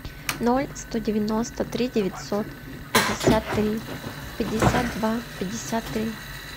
ноль сто девяносто три девятьсот пятьдесят три пятьдесят два пятьдесят три